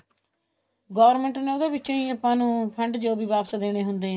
government ਨੇ ਉਹਦੇ ਵਿਚੋਂ ਹੀ ਆਪਾਂ ਨੂੰ fund ਜੋ ਵੀ ਵਾਪਿਸ ਦੇਣੇ ਹੁੰਦੇ ਹੈ